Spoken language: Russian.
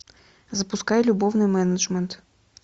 запускай любовный менеджмент